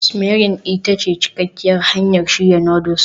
simmering ita ce cikakkiyar hanyar shirya noodles